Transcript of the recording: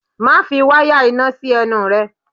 Má fi wáyà iná sí ẹnu rẹ!